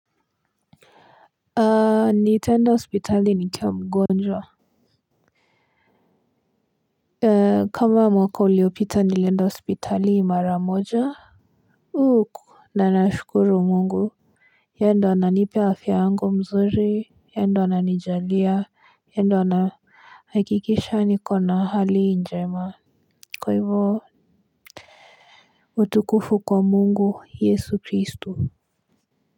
A nitaenda hospitali nikiwa mgonjwa kama mwaka uliopita nilienda hospitali mara moja na nashukuru Mungu. Yeye ndio ananipa afya yangu mzuri, yeye ndio ananijalia yeye ndio anahakikisha nikona hali njema. Kwa hivyo utukufu kwa Mungu yesu Kristu.